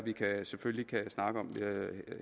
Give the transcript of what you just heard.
selvfølgelig kan snakke om